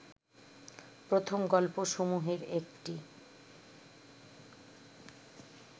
প্রথম গল্পসমূহের একটি